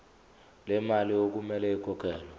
lemali okumele ikhokhelwe